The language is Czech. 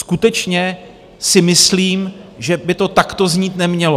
Skutečně si myslím, že by to takto znít nemělo.